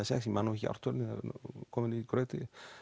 sex eg man nú ekki ártalið það er komið í graut